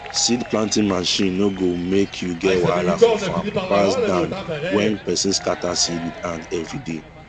seed planting machine no go make u get wahala for farm pass than when person scatter seed with hand everyday